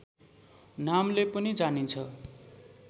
नामले पनि जानिन्छ